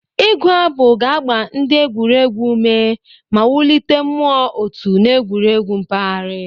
Ịgu abụ ga-agba ndị egwuregwu ume ma wulite mmụọ otu n'egwuregwu mpaghara.